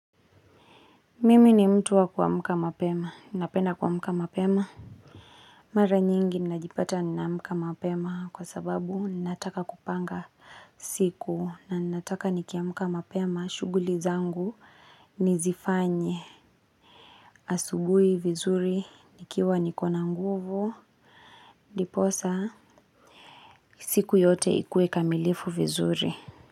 Mimi ni mtu wa kuamka mapema, napenda kuamka mapema. Mara nyingi ninajipata ninaamka mapema kwa sababu ninataka kupanga siku na ninataka nikiamka mapema shughuli zangu nizifanye. Asubuhi vizuri, nikiwa nikona nguvu, ndiposa siku yote ikuwe kamilifu vizuri.